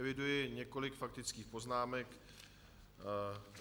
Eviduji několik faktických poznámek.